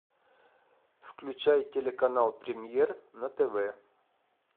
включай телеканал премьер на тв